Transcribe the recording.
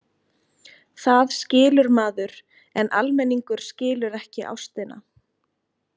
Það skilur maður, en almenningur skilur ekki ástina.